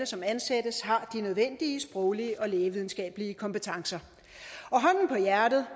som ansættes har de nødvendige sproglige og lægevidenskabelige kompetencer og hånden på hjertet